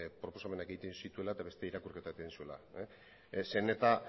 proposamenak egiten zituela eta beste irakurketa bat egin zuela zeren eta